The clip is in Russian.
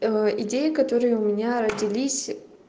идеи которые у меня родились